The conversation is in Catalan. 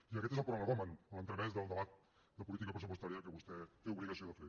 i aquest és el prolegomen a l’entremès del debat de política pressupostària que vostè té obligació de fer